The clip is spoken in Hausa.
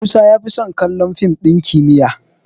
Musa ya fi son kallon dim ɗin kimiyyar